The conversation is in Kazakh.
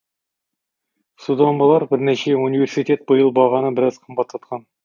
содан болар бірнеше университет биыл бағаны біраз қымбаттатқан